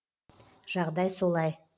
жағдай солай